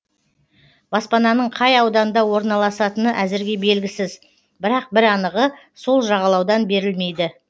баспананың қай ауданда орналасатыны әзірге белгісіз бірақ бір анығы сол жағалаудан берілмейді